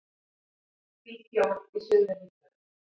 Hvít jól í suðurríkjunum